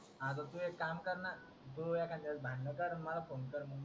तू इक काम ना, तू एखाद्या वेळेस भांडन कर मला फोन कर